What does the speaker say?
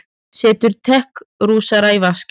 Setur tekrúsina í vaskinn.